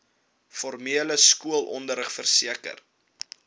formele skoolonderrig verseker